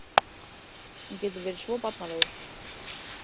Hann getur verið svo barnalegur.